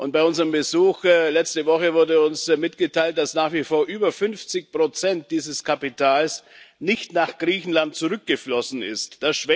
Bei unserem Besuch letzte Woche wurde uns mitgeteilt, dass nach wie vor über 50 dieses Kapitals nicht nach Griechenland zurückgeflossen sind.